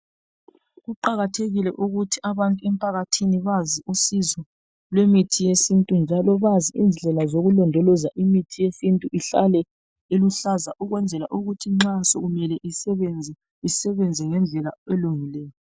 Kuqakathekile ukuthi abantu emphakathini bazi usizo lwemithi yesintu njalo bazi indlela zokulondoloza imithi yesintu ihlale iluhlaza ukwenzela ukuthi nxa sokumele isebenze, isebenze ngendlela elungileyo.